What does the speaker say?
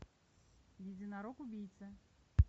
единорог убийца